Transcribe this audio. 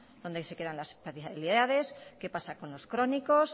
dónde se quedan las especialidades qué pasa con los crónicos